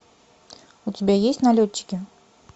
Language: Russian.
у тебя есть налетчики